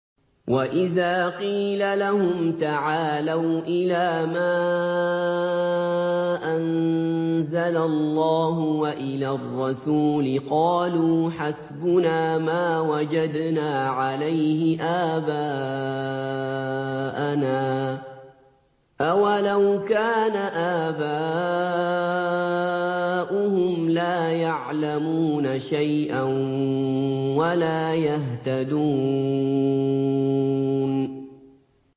وَإِذَا قِيلَ لَهُمْ تَعَالَوْا إِلَىٰ مَا أَنزَلَ اللَّهُ وَإِلَى الرَّسُولِ قَالُوا حَسْبُنَا مَا وَجَدْنَا عَلَيْهِ آبَاءَنَا ۚ أَوَلَوْ كَانَ آبَاؤُهُمْ لَا يَعْلَمُونَ شَيْئًا وَلَا يَهْتَدُونَ